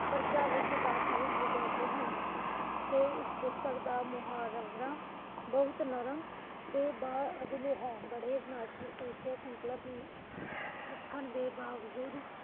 ਪਰਚਾ ਵਿੱਚ ਸਾਤਵਿਕ ਹਨ ਤੇ ਫਿਰ ਇਸ ਪੁਸਤਕ ਦਾ ਮੁਹਾਵਰਾ ਬਹੁਤ ਨਰਮ ਅਤੇ ਬ ਅਦਲ ਹੈ। ਬੜੇ ਨਾਜ਼ੁਕ ਵਿਸ਼ੇ ਸੰਕਲਪ ਲਿਖਣ ਦੇ ਬਾਵਜੂਦ